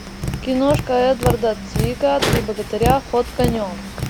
киношка эдварда цвига три богатыря ход конем